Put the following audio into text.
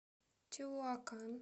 теуакан